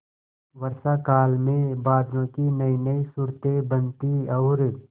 वर्षाकाल में बादलों की नयीनयी सूरतें बनती और